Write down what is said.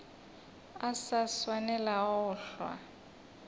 a sa swanelago go hlwa